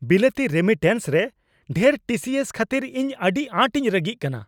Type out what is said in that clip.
ᱵᱤᱞᱟᱹᱛᱤ ᱨᱮᱢᱤᱴᱮᱱᱥ ᱨᱮ ᱰᱷᱮᱨ ᱴᱤ ᱥᱤ ᱥ ᱠᱷᱟᱹᱛᱤᱨ ᱤᱧ ᱟᱹᱰᱤ ᱟᱸᱴ ᱤᱧ ᱨᱟᱹᱜᱤᱜ ᱠᱟᱱᱟ ᱾